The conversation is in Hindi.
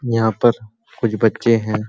यहाँ पर कुछ बच्चे हैं।